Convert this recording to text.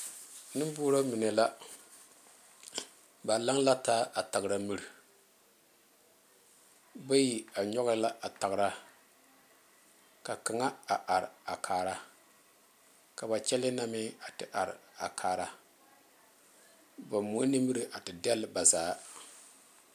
Nenborɔ mine la, ba laŋ la taa a tagre mire bayi a nyoŋ la a tagre ka kaŋa a are a kaara ka ba kyɛle na meŋ a te are a kaara ba moɛ nimire a te degle ba zaa.